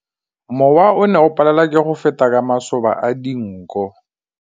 Mowa o ne o palelwa ke go feta ka masoba a dinko.